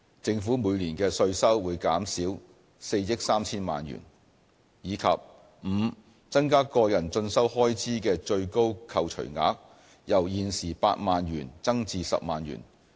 政府每年的稅收會減少4億 3,000 萬元；及 e 增加個人進修開支的最高扣除額，由現時8萬元增至10萬元。